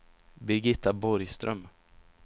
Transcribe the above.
Birgitta Borgström